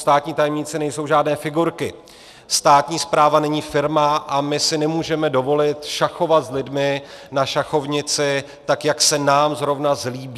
Státní tajemníci nejsou žádné figurky, státní správa není firma a my si nemůžeme dovolit šachovat s lidmi na šachovnici, tak jak se nám zrovna zlíbí.